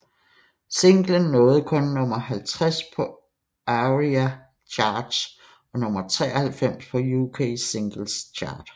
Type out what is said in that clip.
Singlen nåede kun nummer 50 på ARIA Charts og nummer 93 på UK Singles Chart